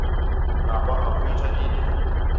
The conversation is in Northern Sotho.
napa a hwetša e le